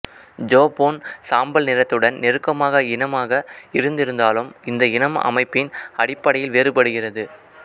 ஜோஃபோன் சாம்பல் நிறத்துடன் நெருக்கமாக இனமாக இருந்திருந்தாலும் இந்த இனம் அமைப்பின் அடிப்படையில் வேறுபடுகிறது